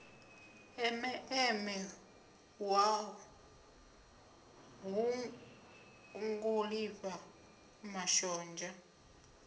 eme eme nṱhwa ṱhungulifha mashonzha